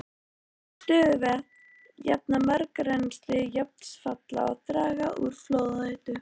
Stöðuvötn jafna mjög rennsli vatnsfalla og draga úr flóðahættu.